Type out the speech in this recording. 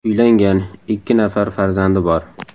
Uylangan, ikki nafar farzandi bor.